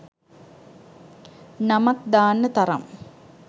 නමක් දාන්න තරම්